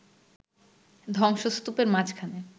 ধ্বংসস্তূপের মাঝখানে